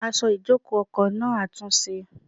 Aṣọ ìjòkó ọkọ̀ náà àtúnṣe.